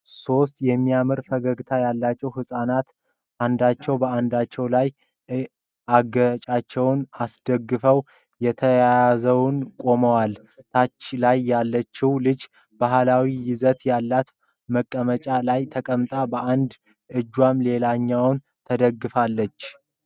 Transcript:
ሶስት የሚያምር ፈገግታ ያላቸው ህጻናት አንዳቸው በአንዳቸው ላይ አገጫቸውን አስደግፈው ተያይዘው ቆመዋል። ታች ላይ ያለችው ልጅ ባህላዊ ይዘት ያለው መቀመጫ ላይ ተቀምጣለች በአንድ እጇም ሌላኛውን ተደግፋለች።